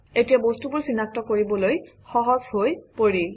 এতিয়া বস্তুবোৰ চিনাক্ত কৰিবলৈ সহজ হৈ পৰিল